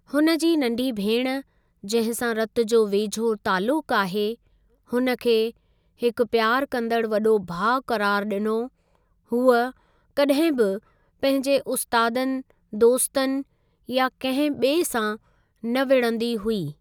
हुन जी नंढी भेण जंहिं सां रतु जो वेझो तालुकु आहे हुन खे हिकु प्यारु कंदड़ु वॾो भाउ क़रारु ॾिनो हूअ कॾहिं बि पंहिंजे उस्तादनि दोस्तनि या कंहिं ॿिऐ सां न विढ़ंदी हुई।